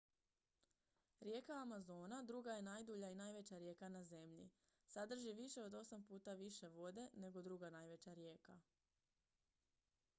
rijeka amazona druga je najdulja i najveća rijeka na zemlji sadrži više od 8 puta više vode nego druga najveća rijeka